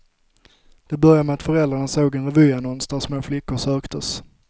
Det började med att föräldrarna såg en revyannons där små flickor söktes.